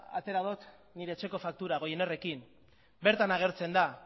atera dut nire etxeko faktura goinerrekin bertan agertzen da